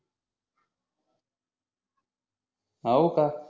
होका हा